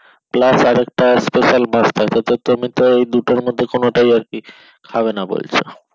plus আর একটা special মাছ থাকবে তো তুমি তো এই দুটোর মধ্যে কোনটাই আরকি খাবে না বলছো।